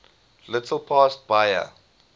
little past bahia